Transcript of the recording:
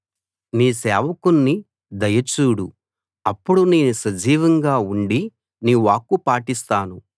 నీ సేవకుణ్ణి దయ చూడు అప్పుడు నేను సజీవంగా ఉండి నీ వాక్కు పాటిస్తాను